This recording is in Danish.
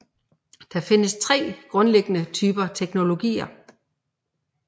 Der findes tre grundlæggende typer teknologier